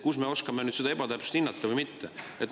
Kust me oskame nüüd seda hinnata, kas see oli ebatäpsus või mitte?